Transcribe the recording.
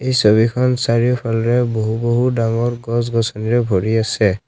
এই ছবিখন চাৰিওফালে বহু বহু ডাঙৰ গছ গছনিৰে ভৰি আছে।